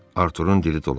Arturun dili dolaşdı.